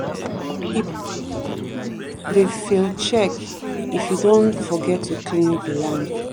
if crops keep to dey fail check if you don forget to cleanse the land.